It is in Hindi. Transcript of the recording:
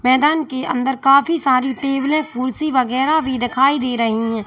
मैदान के अंदर काफी सारी टेबलें कुर्सी वैगैरा भी दिखाई दे रही है।